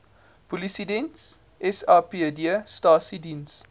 polisiediens sapd stasies